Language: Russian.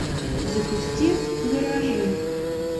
запусти гаражи